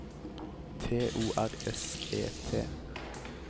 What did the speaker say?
T O R S E T